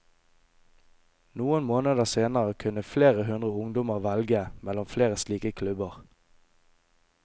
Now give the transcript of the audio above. Noen måneder senere kunne flere hundre ungdommer velge mellom flere slike klubber.